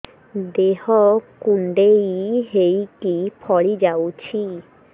ଦେହ କୁଣ୍ଡେଇ ହେଇକି ଫଳି ଯାଉଛି